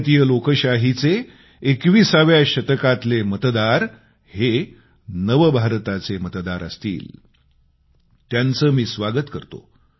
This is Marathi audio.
भारतीय लोकशाहीचे 21व्या शतकातले मतदार हे नव भारताचे मतदार असणार आहेत त्यांचं मी स्वागत करतो